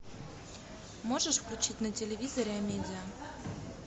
можешь включить на телевизоре амедиа